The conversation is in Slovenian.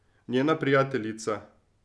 Njena prijateljica.